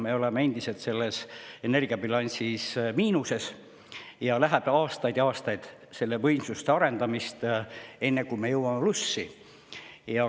Me oleme endiselt energiabilansi mõttes miinuses, läheb veel aastaid ja aastaid võimsuste arendamiseks, enne kui me jõuame plussi.